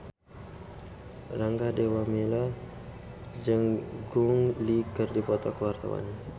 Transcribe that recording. Rangga Dewamoela jeung Gong Li keur dipoto ku wartawan